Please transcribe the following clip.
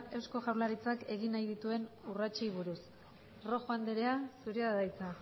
eusko jaurlaritzak egin nahi dituen urratsei buruz rojo anderea zurea da hitza